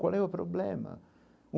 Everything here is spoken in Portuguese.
Qual é o problema?